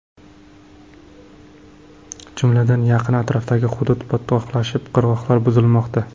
Jumladan, yaqin atrofdagi hudud botqoqlashib, qirg‘oqlar buzilmoqda.